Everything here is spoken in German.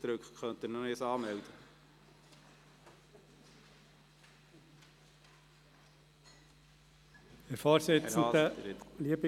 Entschuldigung, ich habe ihn gleich wieder von der Rednerliste gelöscht.